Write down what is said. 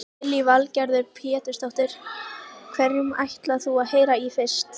Lillý Valgerður Pétursdóttir: Hverjum ætlar þú að heyra í fyrst?